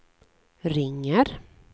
ringer